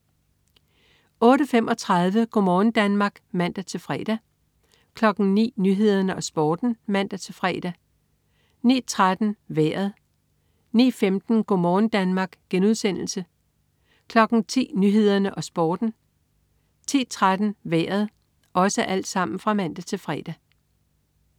08.35 Go' morgen Danmark (man-fre) 09.00 Nyhederne og Sporten (man-fre) 09.13 Vejret (man-fre) 09.15 Go' morgen Danmark* (man-fre) 10.00 Nyhederne og Sporten (man-fre) 10.13 Vejret (man-fre)